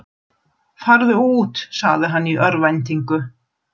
Farðu út, sagði hann í örvæntingu.